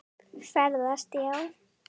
Ferðast já.